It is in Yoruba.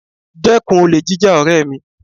Dẹ́kun olè jíjà ọ̀rẹ́ mi